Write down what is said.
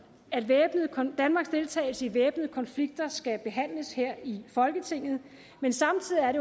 at danmarks deltagelse i væbnede konflikter skal behandles her i folketinget men samtidig er